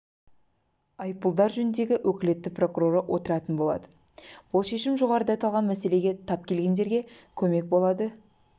айыппұлдар жөніндегі өкілетті прокуроры отыратын болады бұл шешім жоғарыда аталған мәселеге тап келгендерге көмек болады